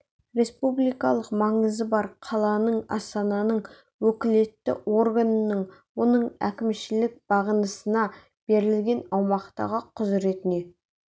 республикалық маңызы бар қаланың астананың уәкілетті органының оның әкімшілік бағынысына берілген аумақтағы құзыретіне